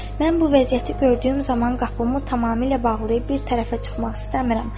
Mən bu vəziyyəti gördüyüm zaman qapımı tamamilə bağlayıb bir tərəfə çıxmaq istəmirəm.